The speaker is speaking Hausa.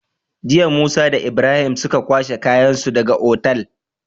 Jiya musa da Ibrahim suka kwashe kayan su daka Otal